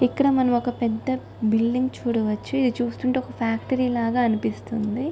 ఇక్కడ మనం ఒక పెద్ద బిల్డింగ్ చూడవచ్చు.ఇది చూస్తుంటే ఒక ఫ్యాక్టరీ లాగా అనిపిస్తుంది.